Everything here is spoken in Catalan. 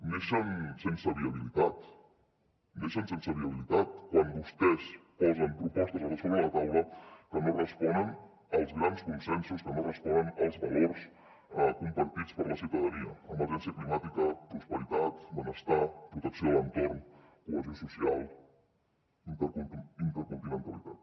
neixen sense viabilitat neixen sense viabilitat quan vostès posen propostes sobre la taula que no responen als grans consensos que no responen als valors compartits per la ciutadania emergència climàtica prosperitat benestar protecció de l’entorn cohesió social intercontinentalitat